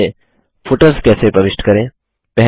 documents में footers कैसे प्रविष्ट करें